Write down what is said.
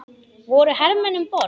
Voru hermenn um borð?